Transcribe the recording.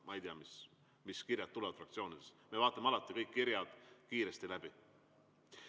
Ma ei tea, mis kirjad tulevad fraktsioonidest, aga me vaatame alati kõik kirjad kiiresti läbi.